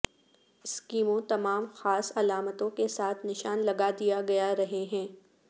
اسکیموں تمام خاص علامتوں کے ساتھ نشان لگا دیا گیا رہے ہیں